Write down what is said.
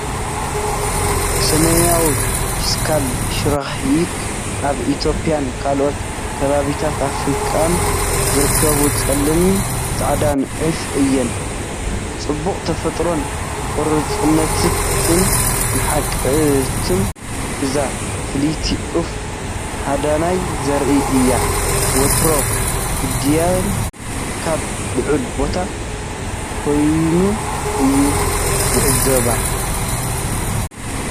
ሰሜናዊ ፊስካል ሽራይክ ኣብ ኢትዮጵያን ካልኦት ከባቢታት ኣፍሪቃን ዝርከብ ጸሊምን ጻዕዳን ዑፍ እዩ። ጽባቐ ተፈጥሮን ቆራጽነትን ንቕሓትን እዛ ፍልይቲ ዑፍ ሃዳናይ ዘርኢ እዩ፤ ወትሩ ግዳይኡ ካብ ልዑል ቦታ ኰይኑ እዩ ዚዕዘቦ።